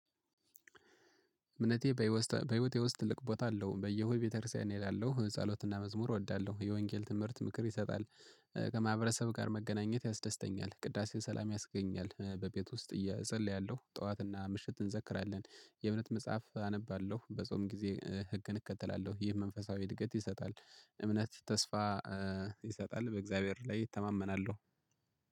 እምነቴ በህይወቴ ውስጥ ትልቅ ቦታ አለው። በየሁድ ቤተክርስቲያን እላለሁ ጸሎትና መዝሙር እወዳለሁ የወንጌል ትምህርት ምክር ይሰጣል። ከማህበረሰብ ጋር መገናኘት ያስደስተኛል። ቅዳሴ ሰላም ያስገኛል። በቤት ውስጥ እጸልያለሁ ጠዋትና ምሽት እንዘክራለን። የእምነት መጽሐፍ አነባለሁ። በጾም ጊዜ ህግን እከተላለሁ። ይህ መንፈሳዊ እድገት ይሰጣል። እምነት ተስፋ ይሰጣል። በእግዚአብሔር ላይ እተማመናለሁ።